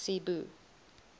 cebu